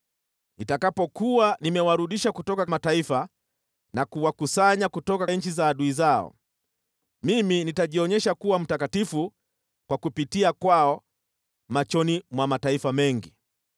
Nitakapokuwa nimewarudisha kutoka mataifa na kuwakusanya kutoka nchi za adui zao, mimi nitajionyesha kuwa mtakatifu kwa kupitia kwao machoni mwa mataifa mengi.